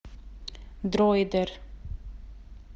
дройдер